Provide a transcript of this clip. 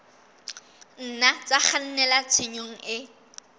nna tsa kgannela tshenyong e